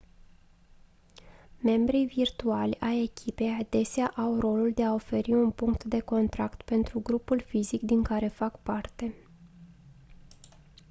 membrii virtuali ai echipei adesea au rolul de a oferi un punct de contact pentru grupul fizic din care fac parte